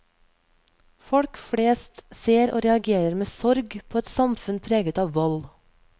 Folk flest ser og reagerer med sorg på et samfunn preget av vold.